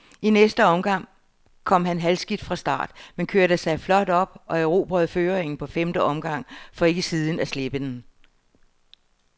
I næste omgang kom han halvskidt fra start, men kørte sig flot op og erobrede føringen på femte omgang, for ikke siden at slippe den.